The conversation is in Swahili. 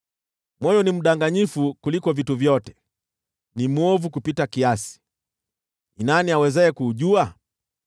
Moyo ni mdanganyifu kuliko vitu vyote, ni mwovu kupita kiasi. Ni nani awezaye kuujua?